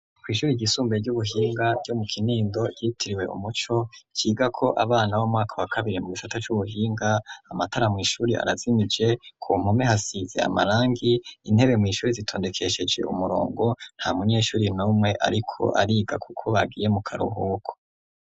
Kw'ishuri igisumbuye ry'ubuhinga ryo mu kinindo yitiriwe umuco ciga ko abana bo mwaka wa kabiri mu gicate c'ubuhinga amatara mw'ishuri arazimije ku mpume hasize amarangi intebe mw'ishuri zitondekesheje umurongo nta munyeshuri n'omwe, ariko ariga, kuko bagiye mu karuhuko.